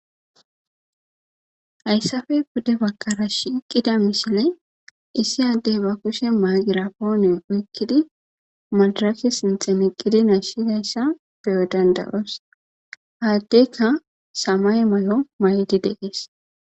Hayssafey bude bakara shiiqqida mishile issi addey ba kushe maagira poone oykkidi madarasi sinxemeqqidi nashidayssa beyo dandayoos haaddeykka samay may'o maydi deqees